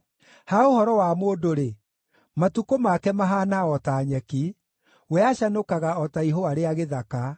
Ha ũhoro wa mũndũ-rĩ, matukũ make mahaana o ta nyeki, we acanũkaga o ta ihũa rĩa gĩthaka;